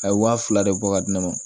A ye waa fila de bɔ ka di ne ma